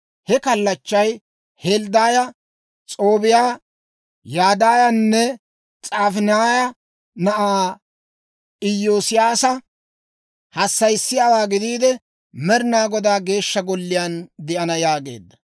He kallachchay Helddaaya, S'oobbiyaa, Yadaayanne S'afaaniyaa na'aa Iyoosiyaasa hassayissiyaawaa gidiide, Med'inaa Godaa Geeshsha Golliyaan de'ana» yaageedda.